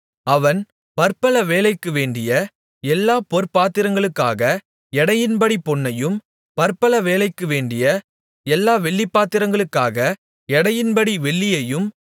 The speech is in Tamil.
அவன் பற்பல வேலைக்கு வேண்டிய எல்லாப் பொற்பாத்திரங்களுக்காக எடையின்படி பொன்னையும் பற்பல வேலைக்கு வேண்டிய எல்லா வெள்ளிப்பாத்திரங்களுக்காக எடையின்படி வெள்ளியையும்